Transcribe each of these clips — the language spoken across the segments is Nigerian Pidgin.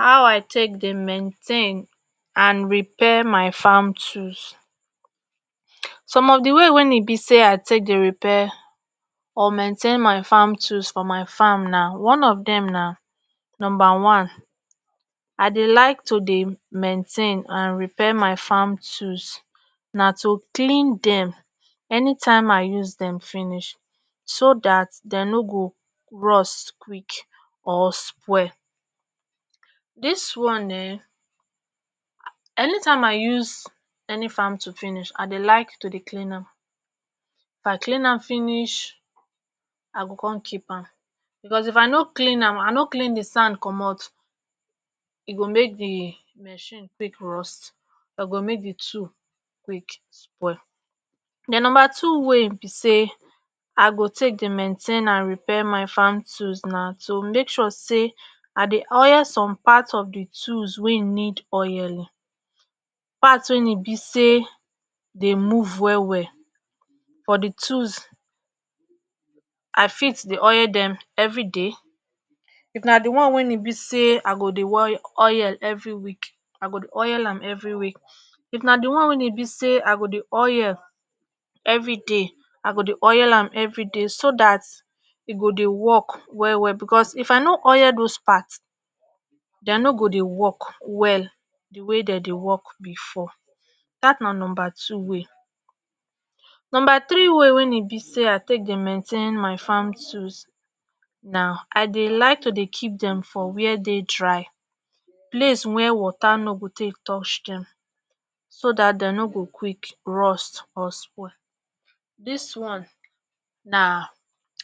how i take dey mentain and repair my farm tools some of di way wain e be say i take dey repair or mentain my farm tools for my farm na one of dem na numba one i dey like to dey mentain and repair my farm tools na to clean dem any time i use dem finish so dat dem no go ross quick or spoil this one um anytime I use any farm tool finish I dey like to dey clean am if i clean am finish i go come keep am because if no clean am I no clean the sand comot e go make the machine quick ross e go make the tool quick spoil then number two wein be say i go take dey mentain and repair my farm tools na to make sure say I dey oyel some parts of the tools wain need oyeling parts wein e be say dey move well well for the tools I fit dey oyel them everyday if na the one wain e be say i go dey oyel every week I go dey oyel am every week if na the one wain e be say i go dey oyel everyday i go dey oyel am everyday so that e go dey work well well because if I no oyel those parts dey no go dey work well the way den dey work before that na number 2 way number 3 way wain e be say i take dey mentain my farm tools na I dey like to dey keep them for where dey dry place where water nor go take touch them so dat dey nor go quick rost or spoil dis one na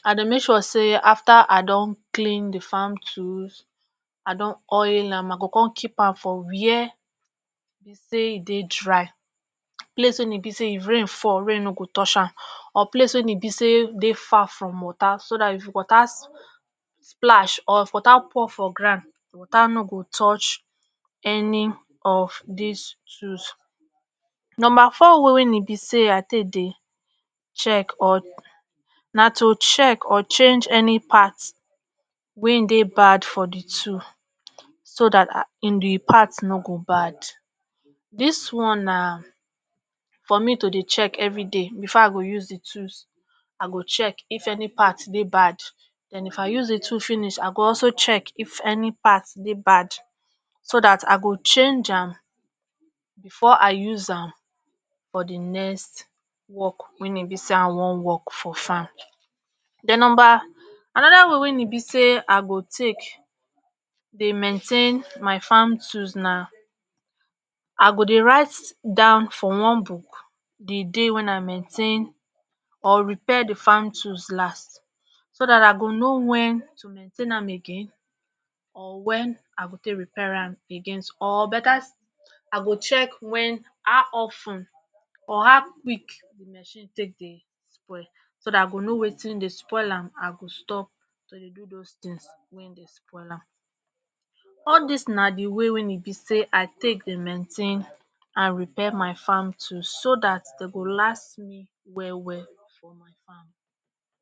i dey make sure say after I don clean the farm tools I don oyel am I go come keep am for where be say e dey dry place wain e be say if rain fall rain nor go touch am or place wain e be say dey far from water so that if water splash or if water pour for ground water nor go touch any of this tools number 4 way wain e be say i take dey check or na to check or change any parts wain dey bad for the tool so that I in the part nor go bad this one na for me to dey check everyday before I go use the tools I go check if any parts dey bad den if I use the two finish I go also check if any parts dey bad so that I go change am before I use am for the next work wein e be say i wan work for farm then number another way wain e be say i go take dey mentain my farm tools na I go dey write down for one book the day wey i mentain or repair the farm tools last so that I go know wen to mentain am again or when I go take repair am agains or better still I go check wen how ofun or how quick the machine take dey spoil so that I go know wetin dey spoil am I go stop to dey do those thins wain dey spoil an all this na the way wain be say i take dey mentain and repair my farm tools so that dey go last me well well for my farm